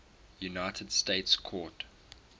united states court